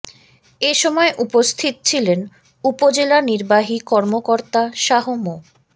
এ সময় উপস্থিত ছিলেন উপজেলা নির্বাহী কর্মকর্তা শাহ মো